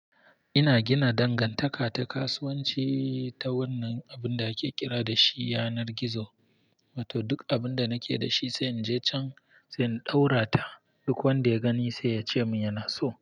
Ina gina dangantaka ta kasuwanci ta wannan abin da ake kira da shi yanar gizo. Wato duk abin da nake da shi sai in je can sai in ɗaura ta. Duk wanda ya gani sai ya ce min yana so.